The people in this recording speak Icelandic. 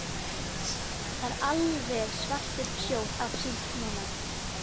Það er alveg svartur sjór af síld núna.